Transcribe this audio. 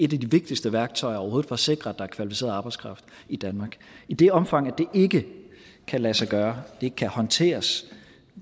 de vigtigste værktøjer overhovedet for at sikre at der er kvalificeret arbejdskraft i danmark i det omfang det ikke kan lade sig gøre ikke kan håndteres